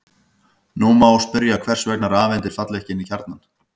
Nú má spyrja hvers vegna rafeindir falla ekki inn í kjarnann.